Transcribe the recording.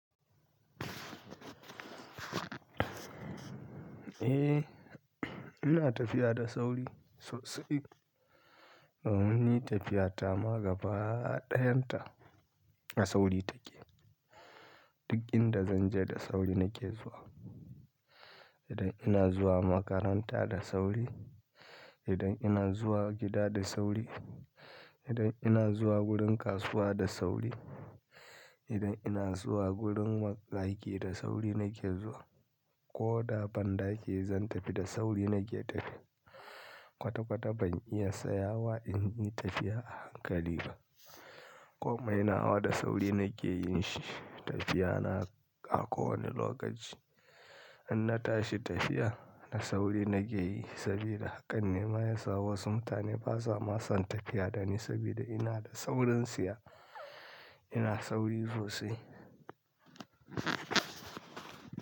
Eh, ina tafiya da sauri sosai. Ba mu yi tafiya ta magaba ɗayan ta, da sauri take. Duk inda zan je da sauri nake zuwa. Idan ina zuwa makaranta da sauri, idan ina zuwa gida da sauri, idan ina zuwa wurin kasuwa da sauri, idan ina zuwa wurin bandaƙi da sauri nake zuwa. Ko da banda ke zan tafi da sauri nake tafi. Kwata kwata ban iya tsayawa in yi tafiya a hankali ba. Komai nawa da sauri nake yin shi tafiya na a kowane lokaci. In na tashi tafiya da sauri na ke yi sabida haka ne ma ya sa wasu mutane ba sa masan tafiya dani sabida ina da saurintsiya, ina sauri sosai.